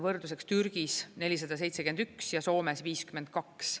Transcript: Võrdluseks Türgis 471 ja Soomes 52.